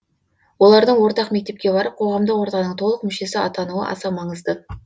олардың ортақ мектепке барып қоғамдық ортаның толық мүшесі атануы аса маңызды